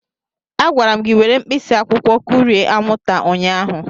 A gwara m gị were mkpịsị akwụkwọ kụrie anwụnta ụnyahụ.